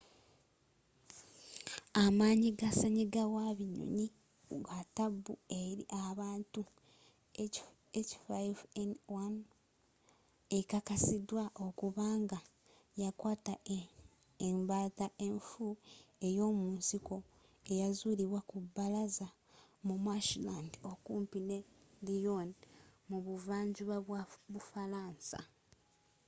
amanyi ga senyiga wa binyonyi wa taabu eri abantu h5n1 ekakasiddwa okuba nga yakwaata embaata enfu eyo'munsiko eyazulibwa ku baalaza mu marshland okumpi ne lyon mu buva njuba bwa bufaransa